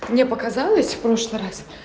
мне показалось в прошлый раз